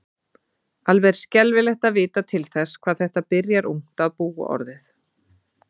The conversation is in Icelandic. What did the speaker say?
Alveg er skelfilegt að vita til þess hvað þetta byrjar ungt að búa orðið.